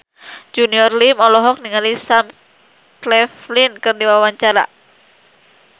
Junior Liem olohok ningali Sam Claflin keur diwawancara